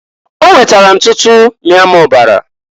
O wetara ntutu mịa m ọbara.